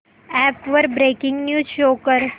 app वर breaking news show कर